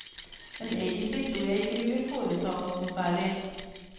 Men egentlig tror jeg ikke vi vil foreta oss noe særlig.